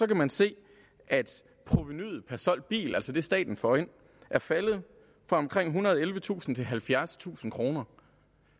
kan man se at provenuet per solgt bil altså det staten får ind er faldet fra omkring ethundrede og ellevetusind kroner til halvfjerdstusind kroner